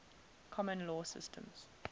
common law systems